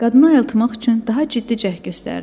Qadını ayıltmaq üçün daha ciddi cəhd göstərdim.